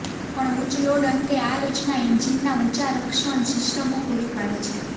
પણ ઉચ્ચ લોડ અંતે આ રચના એન્જિનના ઊંચા રક્ષણ સિસ્ટમો પૂરી પાડે છે